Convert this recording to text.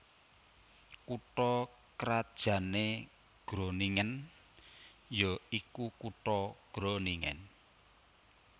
Kutha krajanné Groningen ya iku kutha Groningen